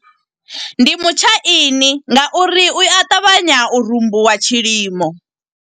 Ndi mutshaini nga uri u a ṱavhanya, u rumbuwa tshilimo.